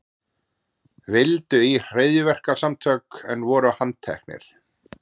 Vildu í hryðjuverkasamtök en voru handteknir